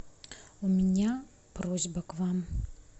у меня просьба к вам